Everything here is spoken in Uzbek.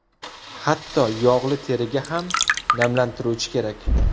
Hatto yog‘li teriga ham namlantiruvchi kerak.